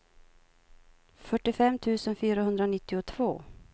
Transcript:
fyrtiofem tusen fyrahundranittiotvå